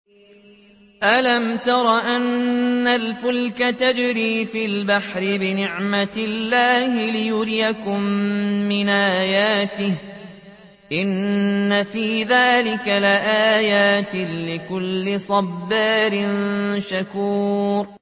أَلَمْ تَرَ أَنَّ الْفُلْكَ تَجْرِي فِي الْبَحْرِ بِنِعْمَتِ اللَّهِ لِيُرِيَكُم مِّنْ آيَاتِهِ ۚ إِنَّ فِي ذَٰلِكَ لَآيَاتٍ لِّكُلِّ صَبَّارٍ شَكُورٍ